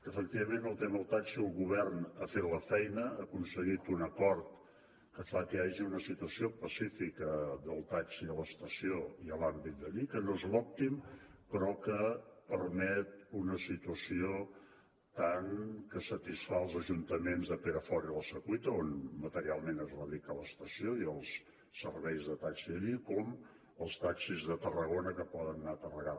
efectivament en el tema del taxi el govern ha fet la feina ha aconseguit un acord que fa que hi hagi una situació pacífica del taxi a l’estació i en l’àmbit d’allí que no és l’òptim però que permet una situació que satisfà tant els ajuntaments de perafort i la secuita on materialment radica l’estació i els serveis de taxi d’allí com els taxis de tarragona que poden anar a carregar